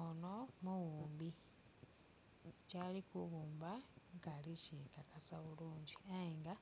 Ono mughumbi, kyali kughumba nkaali kukyekakasa bulungi ayenga